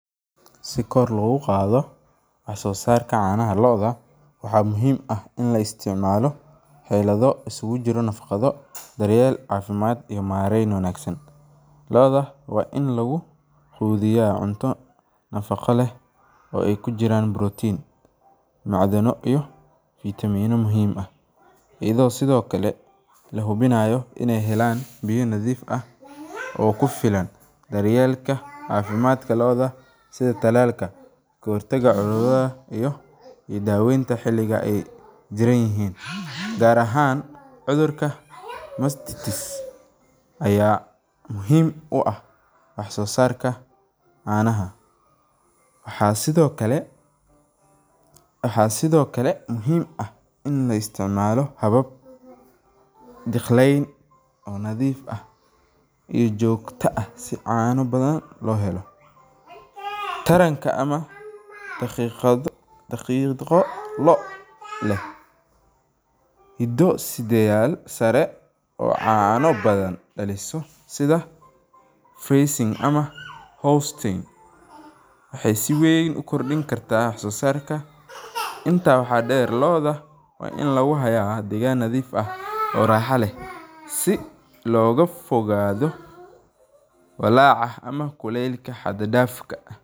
Si kor loogu qaado wax soo saarka canaha looda, waa in lagu qudbiyo cunto nadaqo leh, ayado lahunaayo inaay helaan biya nadiif ah, daawenta xiliga aay jiran yihiin, waxaa sido kale muhiim ah in la isticmaalo habab nadiif ah oo joogta ah, daqiiqo loo leh oo caano badan, waxeey si weyn ukrdinkarta wax soo saarka.